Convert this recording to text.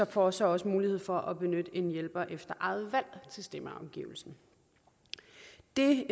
for så også mulighed for at benytte en hjælper efter eget valg til stemmeafgivelsen det